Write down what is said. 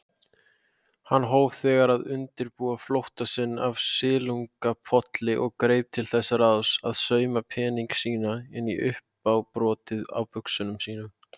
Hann hóf þegar að undirbúa flótta sinn af Silungapolli og greip til þess ráðs að sauma peninga sína inn í uppábrotið á buxunum sínum.